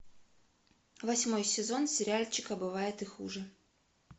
восьмой сезон сериальчика бывает и хуже